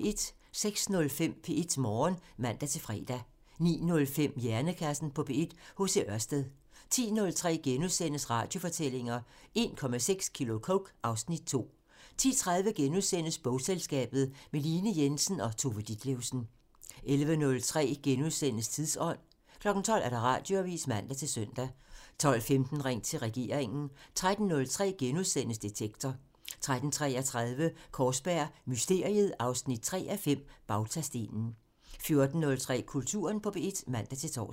06:05: P1 Morgen (man-fre) 09:05: Hjernekassen på P1: H.C. Ørsted 10:03: Radiofortællinger: 1,6 kilo coke - (Afs. 2)* 10:30: Bogselskabet – med Line Jensen og Tove Ditlevsen * 11:03: Tidsånd *(man) 12:00: Radioavisen (man-søn) 12:15: Ring til regeringen (man) 13:03: Detektor *(man) 13:33: Kaarsberg Mysteriet 3:5 – Bautastenen 14:03: Kulturen på P1 (man-tor)